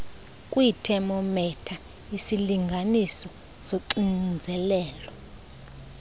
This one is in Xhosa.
kwiithemometha isilinganiso soxinzelelo